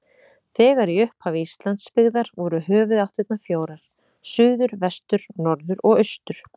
Þegar í upphafi Íslands byggðar voru höfuðáttirnar fjórar: suður, vestur, norður og austur.